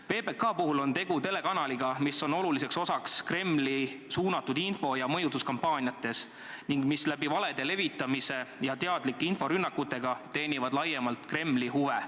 PBK puhul on tegu telekanaliga, mis mängib olulist rolli Kremli suunatud info- ja mõjutuskampaaniates ning mis valede levitamisega ja teadlike inforünnakutega teenib laiemalt Kremli huve.